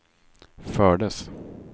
fördes